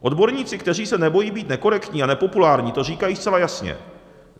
Odborníci, kteří se nebojí být nekorektní a nepopulární, to říkají zcela jasně.